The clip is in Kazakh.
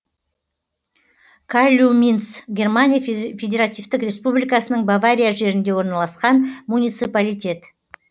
калльюминц германия федеративтік республикасының бавария жерінде орналасқан муниципалитет